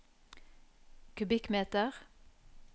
kubikkmeter